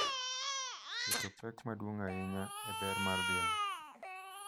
keto pek maduong’ ahinya e ber mar dhiang’,